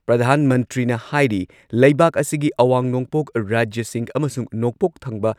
ꯄ꯭ꯔꯙꯥꯟ ꯃꯟꯇ꯭ꯔꯤꯅ ꯍꯥꯏꯔꯤ ꯂꯩꯕꯥꯛ ꯑꯁꯤꯒꯤ ꯑꯋꯥꯡ ꯅꯣꯡꯄꯣꯛ ꯔꯥꯖ꯭ꯌꯁꯤꯡ ꯑꯃꯁꯨꯡ ꯅꯣꯡꯄꯣꯛ ꯊꯪꯕ